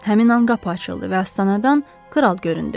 Həmin an qapı açıldı və astanadan kral göründü.